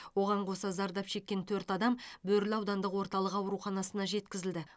оған қоса зардап шеккен төрт адам бөрлі аудандық орталық ауруханасына жеткізілді